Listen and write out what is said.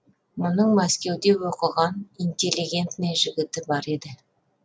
мұның мәскеуде оқыған интеллигентный жігіті бар еді